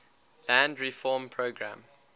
land reform program